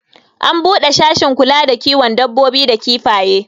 an bude sashin kula da kiwon dabbobi da kifaye